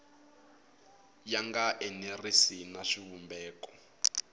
ya nga enerisi na xivumbeko